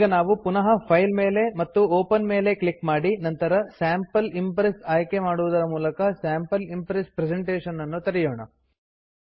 ಈಗ ನಾವು ಪುನಃ ಫೈಲ್ ಮೇಲೆ ಮತ್ತು ಒಪೆನ್ ಮೇಲೆ ಕ್ಲಿಕ್ ಮಾಡಿ ನಂತರ ಸ್ಯಾಂಪಲ್ ಇಂಪ್ರೆಸ್ ಆಯ್ಕೆ ಮಾಡುವುದರ ಮೂಲಕ ಸ್ಯಾಂಪಲ್ ಇಂಪ್ರೆಸ್ ಪ್ರೆಸೆಂಟೇಷನ್ ನನ್ನು ತೆರೆಯೋಣ